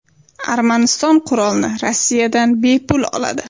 Armaniston qurolni Rossiyadan bepul oladi.